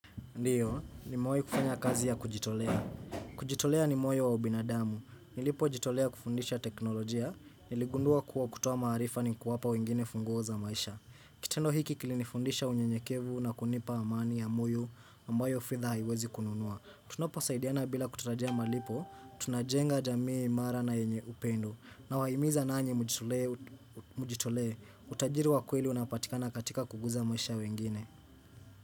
Ndiyo, nimewai kufanya kazi ya kujitolea. Kujitolea ni moyo wa ubinadamu. Nilipojitolea kufundisha teknolojia, niligundua kuwa kutoa maarifa ni kuwapa wengine funguo za maisha. Kitendo hiki kilinifundisha unyenyekevu na kunipa amani ya moyo ambayo fedha haiwezi kununua. Tunaposaidiana bila kutarajia malipo, tunajenga jamii imara na yenye upendo. Nawaimiza nanyi mujitolee, utajiri wa kweli unapatikana katika kuguza maisha ya wengine.